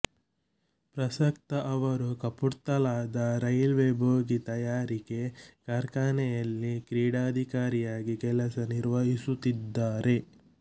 ಪ್ರಸಕ್ತ ಅವರು ಕಪೂರ್ತಲಾದ ರೈಲ್ವೆ ಬೋಗಿ ತಯಾರಿಕೆ ಕಾರ್ಖಾನೆಯಲ್ಲಿ ಕ್ರೀಡಾಧಿಕಾರಿಯಾಗಿ ಕೆಲಸ ನಿರ್ವಹಿಸುತ್ತಿದ್ದಾರೆ